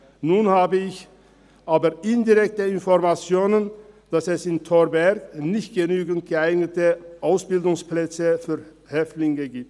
Nun habe ich aber indirekte Informationen, dass es in Thorberg nicht genügend geeignete Ausbildungsplätze für Häftlinge gibt.